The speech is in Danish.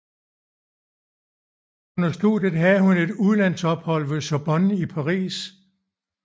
Under studiet havde hun et udlandsophold ved Sorbonne i Paris